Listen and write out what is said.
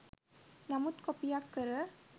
නමුත් කොපියක් කර